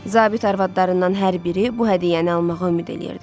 Zabit arvadlarından hər biri bu hədiyyəni almağa ümid eləyirdi.